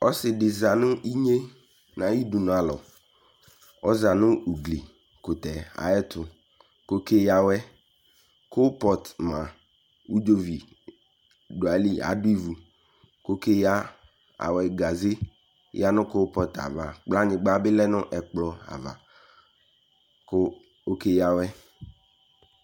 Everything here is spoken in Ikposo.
Ɔse de za no inye nayi dunualɔƆza no ugli kotɛ ayɛtoko ke yia awɛKropɔt ma , udzovi do ayiyi Ado ivu ko ke yia awɛ Gaze yia no keopɔtava Kplanyikpa be lɛ no ɛkpɔava ko oke yia awɛ